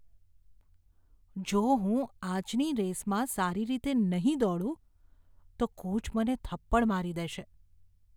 જો હું આજની રેસમાં સારી રીતે નહીં દોડું તો કોચ મને થપ્પડ મારી દેશે.